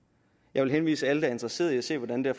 jeg vil henvise alle interesseret i at se hvordan det